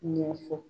Ɲɛfɔ